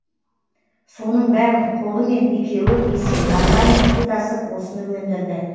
соның бәрін қолымен екеуі есек арбамен су тасып осыны өндірді